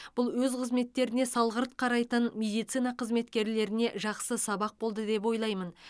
бұл өз қызметтеріне салғырт қарайтын медицина қызметкерлеріне жақсы сабақ болды деп ойлаймын